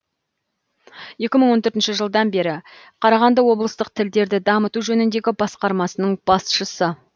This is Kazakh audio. екі мың он төртінші жылдан бері қарағанды облыстық тілдерді дамыту жөніндегі басқармасының басшысы